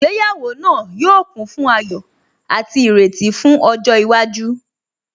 Ìgbéyàwó náà yóò kún fún ayọ̀ àti ìrètí fún ọjọ́ iwájú